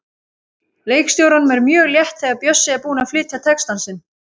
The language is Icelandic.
Leikstjóranum er mjög létt þegar Bjössi er búinn að flytja texta sinn.